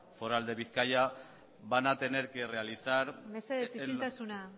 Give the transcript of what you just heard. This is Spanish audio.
foral de bizkaia van a tener que realizar mesedez isiltasuna